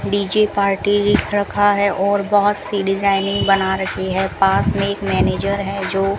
DJ party रखा है और बहुत सी डिजाइनिंग बना रखी है पास में एक मैनेजर है जो --